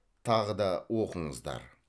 тағы да оқыңыздар